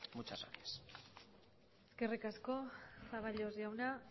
muchas gracias eskerrik asko zaballos jauna